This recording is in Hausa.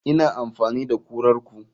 Ina amfani da kurar ku.